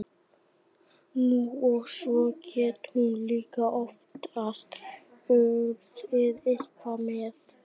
Nú, og svo gat hún líka oftast unnið eitthvað með.